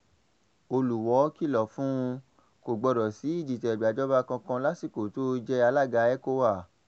olùwọ́ọ́ kìlọ̀ fún kò gbọ́dọ̀ sí ìdìtẹ̀gbàjọba kankan lásìkò tó o jẹ́ alága ecowa